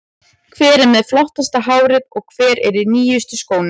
Hver er með flottasta hárið og hver er í nýjustu skónum?